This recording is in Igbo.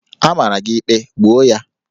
A mara gị ikpe, gbuo ya!